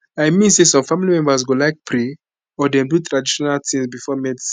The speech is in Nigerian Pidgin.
i mean say some family members go like pray or dem do traditional tings before medicine